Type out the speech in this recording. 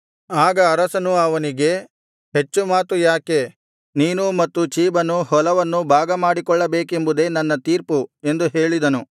ಆಗ ಅರಸನು ಅವನಿಗೆ ಹೆಚ್ಚು ಮಾತು ಯಾಕೆ ನೀನೂ ಮತ್ತು ಚೀಬನೂ ಹೊಲವನ್ನು ಭಾಗಮಾಡಿಕೊಳ್ಳಬೇಕೆಂಬುದೇ ನನ್ನ ತೀರ್ಪು ಎಂದು ಹೇಳಿದನು